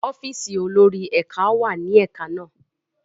ọ́fíìsì olórí ẹka món wá ní ẹka na